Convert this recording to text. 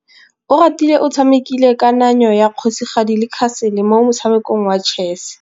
Oratile o tshamekile kananyô ya kgosigadi le khasêlê mo motshamekong wa chess.